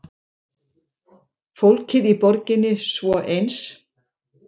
Fólkið í borginni svo eins.